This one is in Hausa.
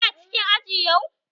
Kana cikin aji yau?